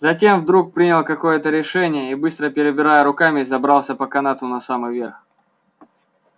затем вдруг принял какое-то решение и быстро перебирая руками забрался по канату на самый верх